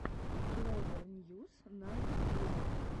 клэвер ньюс на ютьюбе